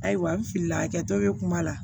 Ayiwa n filila a kɛtɔ bɛ kuma la